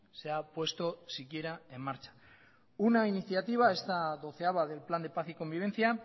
se ha puesto siquiera en marcha una iniciativa esta doceava del plan de paz y convivencia